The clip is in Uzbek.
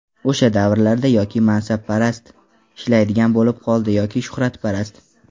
O‘sha davrlarda yoki mansabparast ishlaydigan bo‘lib qoldi yoki shuhratparast.